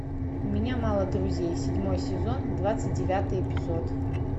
у меня мало друзей седьмой сезон двадцать девятый эпизод